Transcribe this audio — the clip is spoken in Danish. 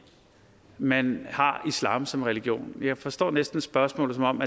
man har islam som religion men jeg forstår næsten spørgsmålet som om